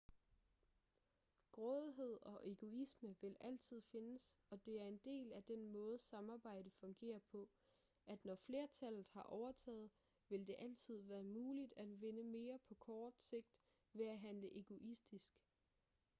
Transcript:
grådighed og egoisme vil altid findes og det er en del af den måde samarbejde fungerer på at når flertallet har overtaget vil det altid være muligt at vinde mere på kort sigt ved at handle egoistisk